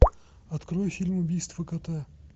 открой фильм убийство кота